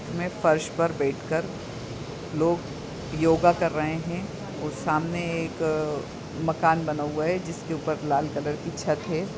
में फर्श पर बैठकर लोग योगा कर रहे है और सामने एक अअअ मकान बना हुआ है जिसके ऊपर लाल कलर की छत है।